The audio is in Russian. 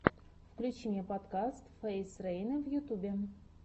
включи мне подкаст фейз рейна в ютубе